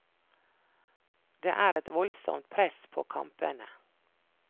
Det er et voldsomt press på kampene.